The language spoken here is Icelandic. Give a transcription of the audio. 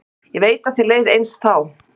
Ég veit að þér leið eins þá.